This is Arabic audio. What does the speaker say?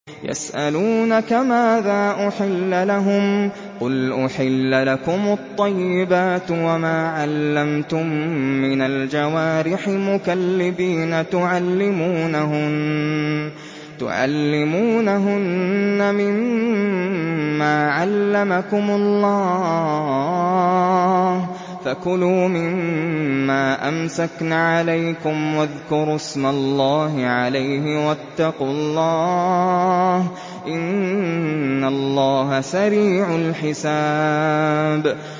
يَسْأَلُونَكَ مَاذَا أُحِلَّ لَهُمْ ۖ قُلْ أُحِلَّ لَكُمُ الطَّيِّبَاتُ ۙ وَمَا عَلَّمْتُم مِّنَ الْجَوَارِحِ مُكَلِّبِينَ تُعَلِّمُونَهُنَّ مِمَّا عَلَّمَكُمُ اللَّهُ ۖ فَكُلُوا مِمَّا أَمْسَكْنَ عَلَيْكُمْ وَاذْكُرُوا اسْمَ اللَّهِ عَلَيْهِ ۖ وَاتَّقُوا اللَّهَ ۚ إِنَّ اللَّهَ سَرِيعُ الْحِسَابِ